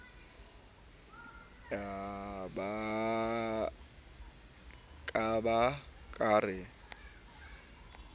ka ba ke re ke